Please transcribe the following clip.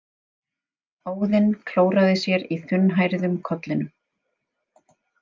Óðinn klóraði sér í þunnhærðum kollinum.